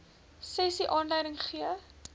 sessie aanleiding gegee